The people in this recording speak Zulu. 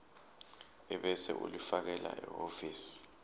ebese ulifakela ehhovisi